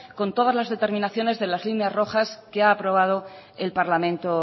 con todas las determinaciones de las líneas rojas que ha aprobado el parlamento